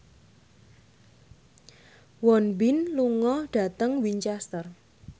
Won Bin lunga dhateng Winchester